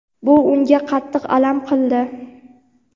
Bu unga qattiq alam qildi.